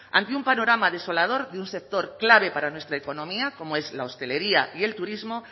ante un panorama desolador de un sector clave para nuestra economía como es la hostelería y el turismo